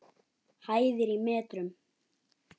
Hæðir í metrum.